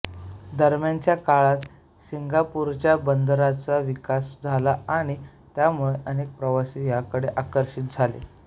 दरम्यानच्या काळात सिंगापूरच्या बंदराचा विकास झाला आणि त्यामुळे अनेक प्रवासी याकडे आकर्षित झाले